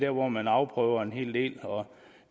hvor man afprøver en hel del og